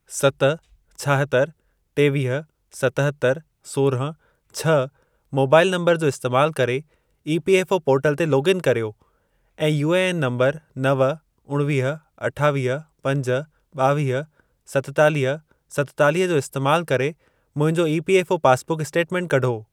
सत, छाहतरि, टेवीह, सतहतरि, सोरहं, छ्ह मोबाइल नंबर जो इस्तैमाल करे ईपीएफ़ओ पोर्टल ते लोग इन कर्यो ऐं यूएएन नंबर नव, उणिवीह, अठावीह, पंज, ॿावीह, सतेतालीह, सतेतालीह जो इस्तैमाल करे मुंहिंजो ईपीएफ़ओ पासबुक स्टेटमेंट कढो।